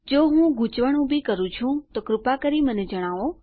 જો હું ગૂંચવણ ઉભી કરું છું તો કૃપા કરી મને જણાવો